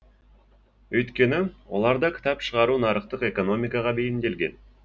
өйткені оларда кітап шығару нарықтық экономикаға бейімделген